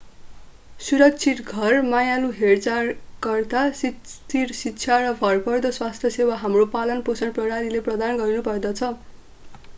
सुरक्षित घर मायालु हेरचाहकर्ता स्थिर शिक्षा र भरपर्दो स्वास्थ्य सेवा हाम्रो पालनपोषण प्रणालीले प्रदान गर्नुपर्दछ